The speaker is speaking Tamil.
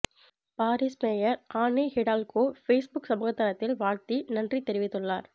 Paris mayor Anne Hidalgo Facebook சமூக தளத்தில் வாழ்த்தி நன்றி தெரிவித்துள்ளார்